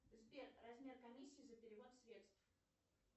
сбер размер комиссии за перевод средств